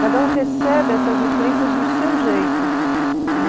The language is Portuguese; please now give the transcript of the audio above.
Cada um recebe essas influências do seu jeito